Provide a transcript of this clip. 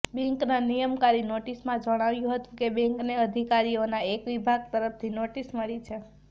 બેન્કના નિયમનકારી નોટિસમાં જણાવ્યું હતું કે બેંકને અધિકારીઓના એક વિભાગ તરફથી નોટિસ મળી છે